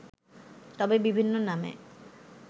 তবে বিভিন্ন নামে